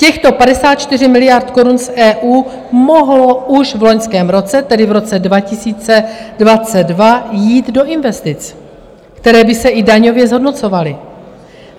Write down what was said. Těchto 54 miliard korun z EU mohlo už v loňském roce, tedy v roce 2022, jít do investic, které by se i daňově zhodnocovaly.